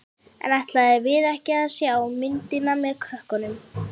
En ætluðum við ekki að sjá myndina með krökkunum?